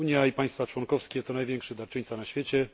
Unia i państwa członkowskie to najwięksi darczyńcy na świecie.